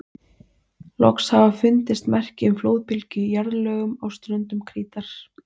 Loks hafa fundist merki um flóðbylgju í jarðlögum á ströndum Krítar.